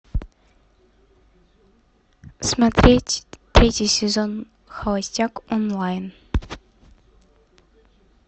смотреть третий сезон холостяк онлайн